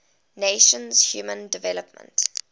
nations human development